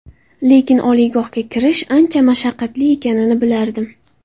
Lekin oliygohga kirish, ancha mashaqqatli ekanini bilardim.